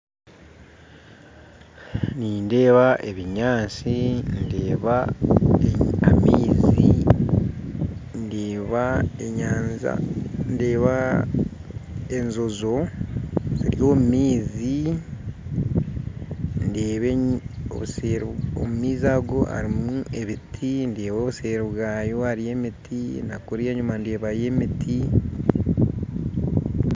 Nindeeba ebinyaatsi ndeeba amaizi ndeeba enyanja ndeeba enjojo ziri omu maizi ndeeba obuseeri omu maizi ago harimu ebiti ndeeba obuseeri bwayo hariyo emiti nakuri enyuma ndeebayo emiti